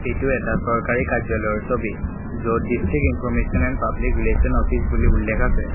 এইটো এটা চৰকাৰী কাৰ্য্যালয়ৰ ছবি য'ত district information and public relation office বুলি উল্লেখ আছে।